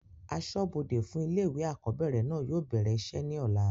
asọ́bọdè fún ilé ìwé àkọ́bẹ̀rẹ̀ náà yóò bẹ̀rẹ̀ isẹ́ ní ọ̀la